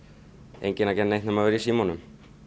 enginn að gera neitt nema vera í símanum